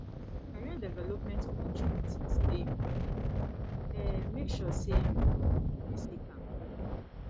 career development opportunities dey important um make sure say you um dey seek am